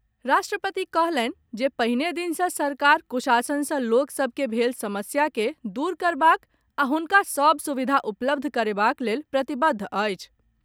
राष्ट्रपति कहलनि जे पहिने दिन सॅ सरकार कुशासन सॅ लोक सभ के भेल समस्या के दूर करबाक आ हुनका सभ सुविधा उपलब्ध करेबाक लेल प्रतिबद्ध अछि।